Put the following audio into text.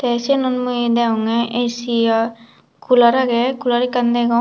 eh sinot mui degonge A_C cooler aagey cooler ekan degong.